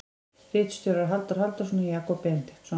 Ritstjórar Halldór Halldórsson og Jakob Benediktsson.